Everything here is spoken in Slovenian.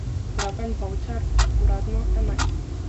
Dragan Bavčar: 'Uradno enajst.